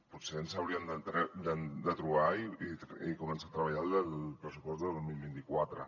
potser ens hauríem de trobar i començar a treballar el pressupost del dos mil vint quatre